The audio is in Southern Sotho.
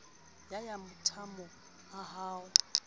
ya ya matamo a ho